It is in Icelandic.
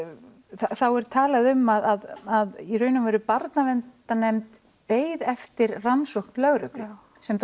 þá er talað um að í raun og veru Barnaverndarnefnd beið eftir rannsókn lögreglu sem